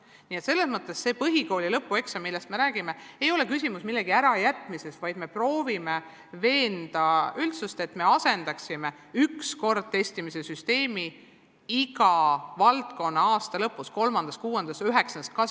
Nii et selles mõttes see põhikooli lõpueksam, millest me räägime, ei ole küsimus millegi ärajätmisest, vaid sellest, et me proovime veenda üldsust asendama ühekordset testimise süsteemi 3., 6. ja 9. klassi lõpus läbiviidava testimisega.